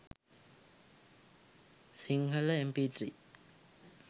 sinhala mp3